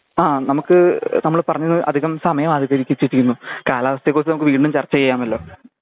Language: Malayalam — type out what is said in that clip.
ആ നമ്മുക്ക് നമ്മൾ പറഞ്ഞ അധികം സമയം അധികരിപ്പിച്ചിട്ടിന്നു കാലാവസ്ഥേ കുറിച്ച് നമ്മുക്ക് വീണ്ടും ചർചയ്യാമല്ലോ